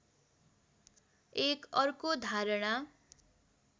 एक अर्को धारणा